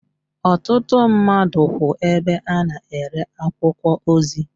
Ọtụtụ mmadụ kwú ebe a na-ere akwụkwọ ozi.